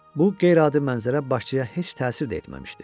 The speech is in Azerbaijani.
Bu qeyri-adi mənzərə başçıya heç təsir də etməmişdi.